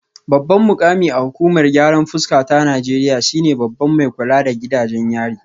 Babban mukami a hukumar gyaran fuska ta Najeriya shine babban mai kula da gidajen yari